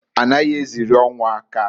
A naghị eziri ọnwụ aka.